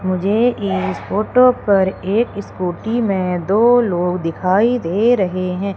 मुझे इस फोटो पर एक स्कूटी में दो लोग दिखाई दे रहे हैं।